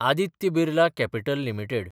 Aditya Birla Capital limited